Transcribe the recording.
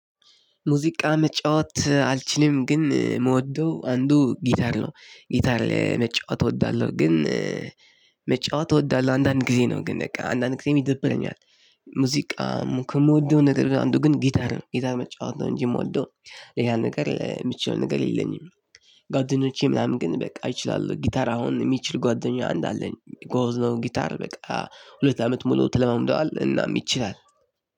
ሙዚቃ መጫወት አልችልም ግን የምወደው አንዱ ጊታር ነው ጊታር ላይ መጫወት እወዳለሁ ግን መጫወት እወዳለሁ ግን አንዳንድ ጊዜ ነው አንዳንድ ጊዜ ይደብረኛል። ሙዚቃ ከምወደው ነገር አንዱ ጊታር ነው መጫወት ነው። እንጂ የምወደው ሌላ ነገር የምችለው ነገር የለኝም። ጊታር ምናምን ግን እችላለሁ ጊታር የሚችል ጓደኛ አለኝ ጎበዝ ነው። ጊታር በቃ ሁለት አመት ሙሉ ተለማምደዋል እናም ይችላል።